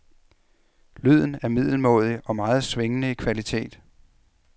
Lyden er middelmådig og meget svingende i kvalitet.